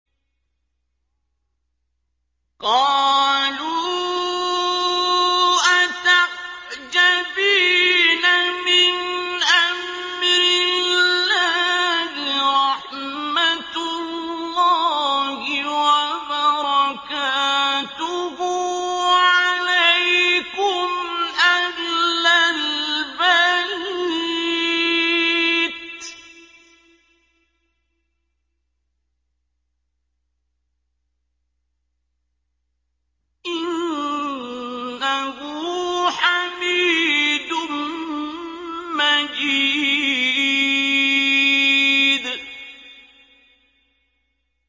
قَالُوا أَتَعْجَبِينَ مِنْ أَمْرِ اللَّهِ ۖ رَحْمَتُ اللَّهِ وَبَرَكَاتُهُ عَلَيْكُمْ أَهْلَ الْبَيْتِ ۚ إِنَّهُ حَمِيدٌ مَّجِيدٌ